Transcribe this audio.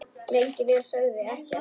Lengi vel sögðu þau ekkert.